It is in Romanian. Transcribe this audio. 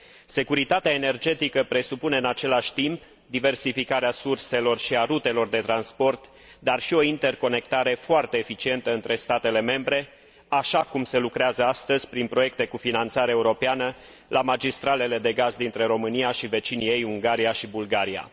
Securitatea energetică presupune, în același timp, diversificarea surselor și a rutelor de transport, dar și o interconectare foarte eficientă între statele membre, așa cum se lucrează astăzi prin proiecte cu finanțare europeană la magistralele de gaz dintre România și vecinii ei, Ungaria și Bulgaria.